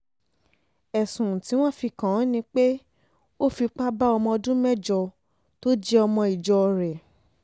ẹ̀sùn tí wọ́n fi kàn án ni pé ó fipá bá ọmọ ọdún mẹ́jọ tó jẹ́ ọmọ ìjọ rẹ̀